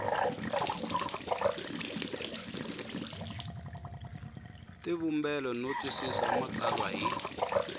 tivumbela no twisisa matsalwa hi